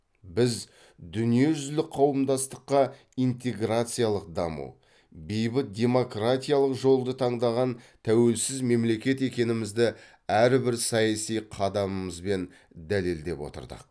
біз дүниежүзілік қауымдастыққа интеграциялық даму бейбіт демократиялық жолды таңдаған тәуелсіз мемлекет екенімізді әр бір саяси қадамымызбен дәлелдеп отырдық